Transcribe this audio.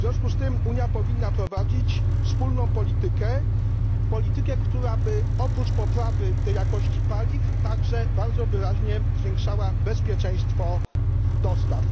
W związku z tym Unia powinna prowadzić wspólną politykę, która oprócz poprawy jakości paliw także bardzo wyraźnie zwiększałaby bezpieczeństwo dostaw.